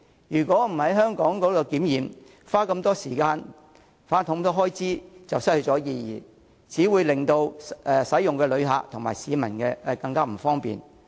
如果不在香港檢測，花這麼多時間和開支就會失去意義，只會令乘車的旅客及市民更不便。